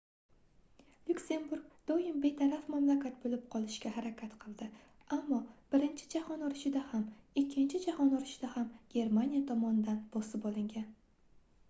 lyuksemburg doim betaraf mamlakat boʻlib qolishga harakat qilgan ammo birinchi jahon urushida ham ikkinchi jahon urushida ham germaniya tomonidan bosib olingan